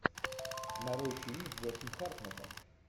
нарой фильм с джошем хартнеттом